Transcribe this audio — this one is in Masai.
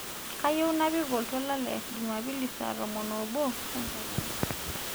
kayieu napik oltuala le jumapili saa tomon oo obo enkakeya